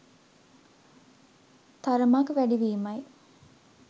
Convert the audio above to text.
තරමක් වැඩි වීමයි.